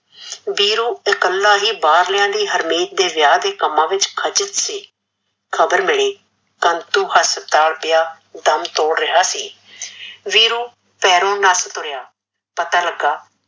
ਵੀਰੂ ਇਕੱਲਾ ਹੀ ਬਾਹਰਲਿਆ ਦੀ ਹਰਮੀਤ ਦੇ ਵਿਆਹ ਦੇ ਕੰਮਾ ਵਿੱਚ ਖਚਦ ਸੀ, ਖਬਰ ਮਿਲਿ ਕੰਤੁ ਹਸਪੀਤਾਲ ਪਿਆ ਦੱਮ ਤੋੜ ਰਿਹਾ ਸੀ ਵੀਰੂ ਪੈਰੋਂ ਨੱਸ ਤੁਰਿਆ ਪਤਾ ਲੱਗਾ